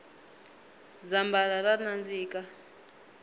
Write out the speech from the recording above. zambhala ra nandzika